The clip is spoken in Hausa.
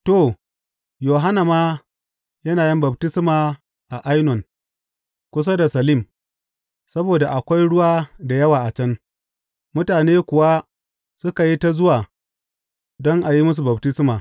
To, Yohanna ma yana yin baftisma a Ainon kusa da Salim, saboda akwai ruwa da yawa a can, mutane kuwa suka yi ta zuwa don a yi musu baftisma.